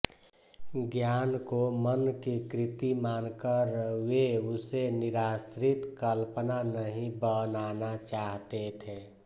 ज्ञान को मन की कृति मानकर वे उसे निराश्रित कल्पना नहीं बनाना चाहते थे